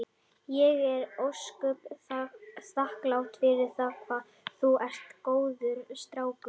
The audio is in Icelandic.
Ég er ósköp þakklát fyrir það hvað þú ert góður strákur.